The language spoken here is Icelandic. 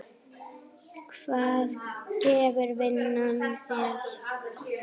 Hvað gefur vinnan þér?